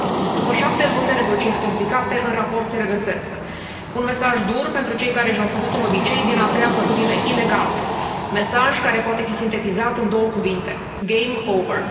După șapte luni de negocieri complicate, în raport se regăsesc un mesaj dur pentru cei care și au făcut un obicei din a tăia pădurile ilegal, mesaj care poate fi sintetizat în două cuvinte game over.